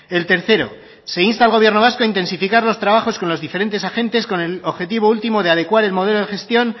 el tercero se insta al gobierno vasco a intensificar los trabajos con los diferentes agentes con el objetivo último de adecuar el modelo de gestión